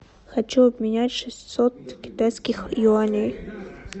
хочу обменять шестьсот китайских юаней